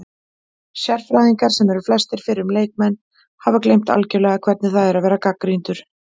Sérfræðingar, sem eru flestir fyrrum leikmenn, hafa gleymt algjörlega hvernig það er að vera gagnrýndur